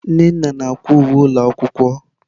Nnenna na-akwa uwe ụlọ akwụkwọ.